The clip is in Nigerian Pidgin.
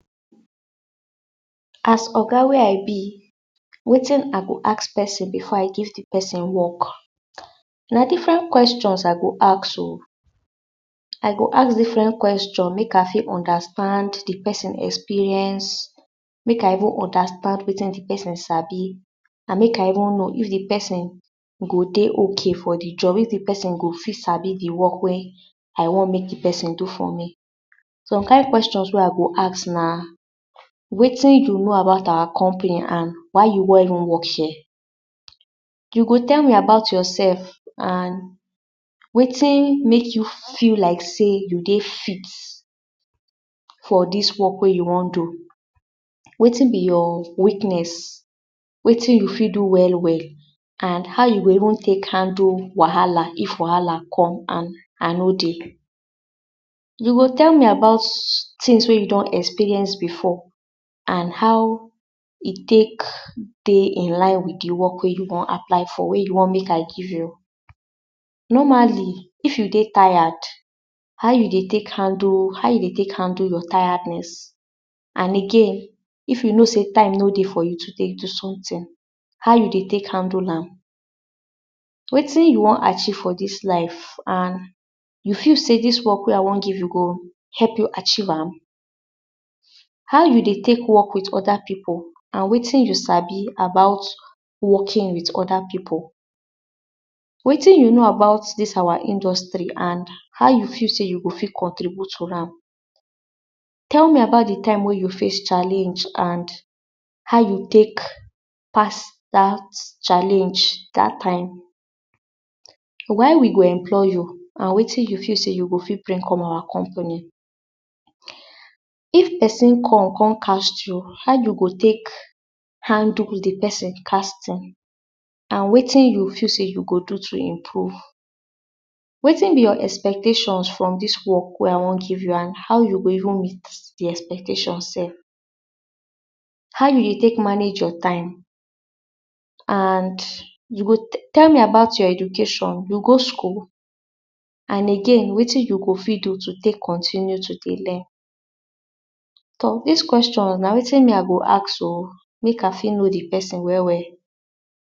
As Oga wey I be wetin I go ask pesin before I give de person work na different questions I go ask o I go ask different questions make I fit understand de person experience make I even understand wetin de person sabi and make I even know if de person go dey okay for de job. if de pesin go fit sabi de work well wey I wan make de person do for me. some kin question wey I go ask na wetin you know about our company and why you wan even work here you go tell me about yourself and wetin make you feel like sey you dey fit for dis work wey you wan do. wetin be your weakness wetin you fit do well well and how you go even take handle wahala if wahala come and I no dey. you go tell me about tings wey you don experience before and how e take dey in line with de work wey you wan apply for. wey you wan make I give you. normally, if you dey tired how you dey take handle how you dey take handle your tiredness and again if you know sey time no dey for you to dey do someting how you dey take handle am wetin you wan achieve for dis life and you feel sey dis work wey I wan give you go help you achieve am. how you dey take work with other pipu and wetin you sabi about working with other pipu? wetin you know about dis our industree and how you feel sey you go fit contribute for ham tell me about de time wey you face challenge and how you tek pass dat challenge dat time why we go employ you and wetin you feel sey you go fit bring come out company if person come come cast you how you go take handle with de person casting and wetin you feel sey you go do to improve wetin be your expectation from dis work wey I wan give you and how you go even meet de expectations sef how you dey take manage your time and you go tell me about your education you go school and again wetin you go fit do to take continue to dey learn so dis question na wetin me I go ask o make I fit know de person well well.